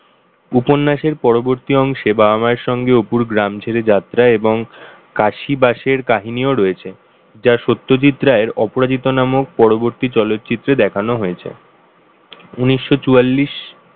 উপন্যাসের পরবর্তী অংশে বাবা-মায়ের সঙ্গে অপুর গ্রাম ছেড়ে যাত্রা এবং কাশি বাসের কাহিনী রয়েছে সত্যজিৎ রায়ের অপরাজিত নামক পরবর্তী চলচিত্রের দেখানো হয়েছে। উনিশশো চুয়াল্লিশ,